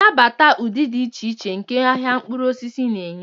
Nabata ụdị dị iche iche nke ahịa mkpụrụ osisi na-enye.